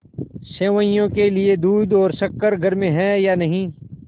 सेवैयों के लिए दूध और शक्कर घर में है या नहीं